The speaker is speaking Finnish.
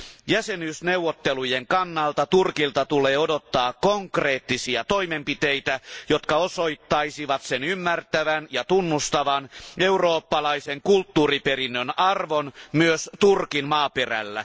Jäsenyysneuvottelujen kannalta Turkilta tulee odottaa konkreettisia toimenpiteitä, jotka osoittaisivat sen ymmärtävän ja tunnustavan eurooppalaisen kulttuuriperinnön arvon myös Turkin maaperällä.